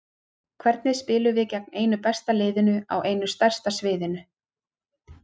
Hvernig spilum við gegn einu besta liðinu á einu stærsta sviðinu?